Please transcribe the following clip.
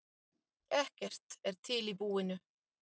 Ekkert er til í búinu.